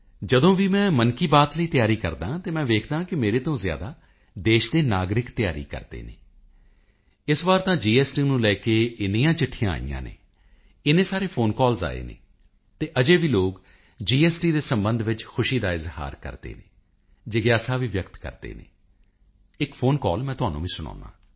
ਜਦੋਂ ਵੀ ਮੈਂ ਮਨ ਕੀ ਬਾਤ ਲਈ ਤਆਿਰੀ ਕਰਦਾ ਹਾਂ ਤਾਂ ਮੈਂ ਵੇਖਦਾ ਹਾਂ ਮੇਰੇ ਤੋਂ ਜ਼ਆਿਦਾ ਦੇਸ਼ ਦੇ ਨਾਗਰਿਕ ਤਿਆਰੀ ਕਰਦੇ ਹਨ ਇਸ ਵਾਰ ਤਾਂ ਜੀਐਸਟੀ ਨੂੰ ਲੈ ਕੇ ਇੰਨੀਆਂ ਚਿੱਠੀਆਂ ਆਈਆਂ ਹਨ ਇੰਨੇ ਸਾਰੇ ਫੋਨ ਕਾਲ ਆਏ ਹਨ ਅਤੇ ਅਜੇ ਵੀ ਲੋਕ ਜੀਐਸਟੀ ਦੇ ਸੰਬੰਧ ਵਿੱਚ ਖੁਸ਼ੀ ਦਾ ਇਜ਼ਹਾਰ ਕਰਦੇ ਹਨ ਜਿਗਿਆਸਾ ਵੀ ਵਿਅਕਤ ਕਰਦੇ ਹਨ ਇੱਕ ਫੋਨ ਕਾਲ ਮੈਂ ਤੁਹਾਨੂੰ ਵੀ ਸੁਣਾਉਂਦਾ ਹਾਂ